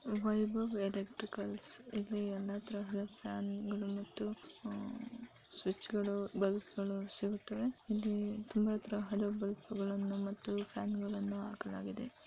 Vaibhav electricals ಇಲ್ಲಿ ಎಲ್ಲಾ ತರದ ಫ್ಯಾನ್ ಗಳು ಮತ್ತು ಸ್ವಿಚ್ ಗಳು ಬಲ್ಪುಗಳು ಸಿಗುತ್ತವೆ ಇಲ್ಲಿ ತುಂಬಾ ತರದ ಬಲ್ಪ್ ಗಳನ್ನು ಮತ್ತು ಫ್ಯಾನ್ ಗಳನ್ನು ಹಾಕಲಾಗಿದೆ.